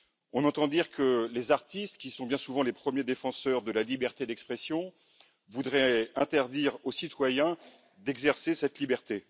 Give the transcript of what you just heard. On entend dire que les artistes, qui sont bien souvent les premiers défenseurs de la liberté d'expression, voudraient interdire aux citoyens d'exercer cette liberté.